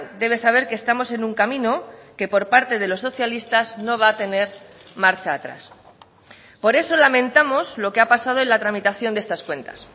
debe saber que estamos en un camino que por parte de los socialistas no va a tener marcha atrás por eso lamentamos lo que ha pasado en la tramitación de estas cuentas